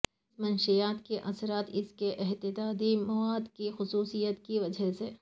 اس منشیات کے اثرات اس کے اتحادی مواد کی خصوصیات کی وجہ سے